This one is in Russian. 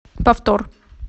повтор